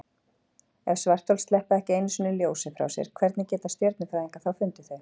Ef svarthol sleppa ekki einu sinni ljósi frá sér, hvernig geta stjörnufræðingar þá fundið þau?